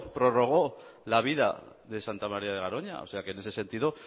prorrogó la vida de santa maría de garoña así que en ese sentido